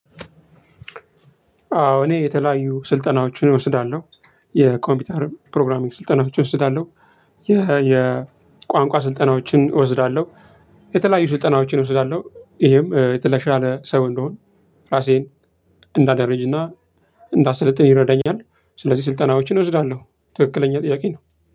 አዎ እኔ የተለያዩ ስልጠናዎችን እወስዳለሁ የኮምፒውተር ፕሮግራሚንግ ስልጠናዎችን እወስዳለሁ። የቋንቋ ስልጠናዎችን እወስዳለሁ። የተለያዩ ስልጠናዎችን እወስዳለሁ ይሄም የተሻለ ሰው እንድሆን ራሴን እንዳደረጅና እንዳሰለጥን ይረዳኛል። ስለዚህ ስልጠናዎችን እወስዳለሁ ትክክለኛ ጥያቄ ነው።